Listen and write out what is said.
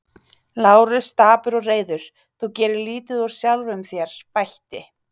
Lárus dapur og reiður, þú gerir lítið úr sjálfum þér, bætti